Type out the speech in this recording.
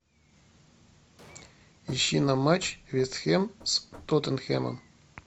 ищи нам матч вест хэм с тоттенхэмом